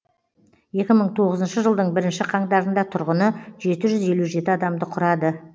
екі мың тоғызыншы жылдың бірінші қаңтарында тұрғыны жеті жүз елу жеті адамды құрады